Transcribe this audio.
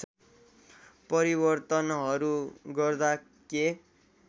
परिवर्तनहरू गर्दा के